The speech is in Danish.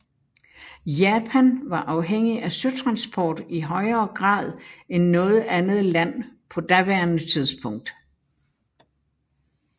Japan var afhængig af søtransport i højere grad end noget andet land på daværende tidspunkt